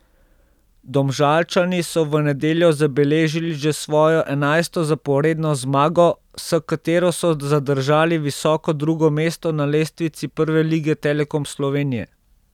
Domžalčani so v nedeljo zabeležili že svojo enajsto zaporedno zmago, s katero so zadržali visoko drugo mesto na lestvici Prve lige Telekom Slovenije.